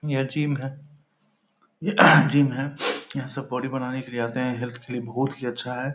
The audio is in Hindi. यह जिम है | यह जिम है | यहाँ सब बॉडी बनाने के लिए आते हैं | हेल्थ के लिए बहुत ही अच्छा है |